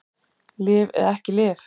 Lyf eða ekki lyf